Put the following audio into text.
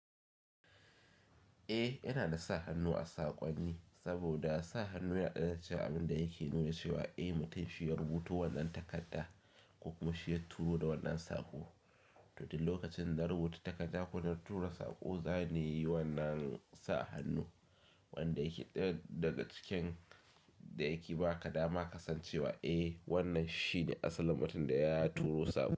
Eh yana da sa hannu a saƙonni, saboda sa hannu yana daya daga cikin abind yake nuna cikin abin da yake nuna cewa, eh mutum shi ya rubuta wannan takarda ko kuma shi ya turo da wannan saƙo. To duk lokacin da narubuta takarda ko na tura saƙo, za ni yi wannan sa hannu wanda yake ɗaya daga cikin da yake ba ka dama ka san cewa, eh wannan shine asalin mutum da ya turo saƙo.